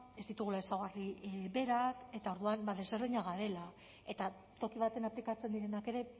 ez ditugula ezaugarri berak eta orduan ezberdinak garela eta toki batean aplikatzen direnak ere